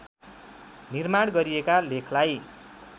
निर्माण गरिएका लेखलाई